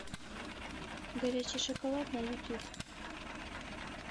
горячий шоколад на ютюб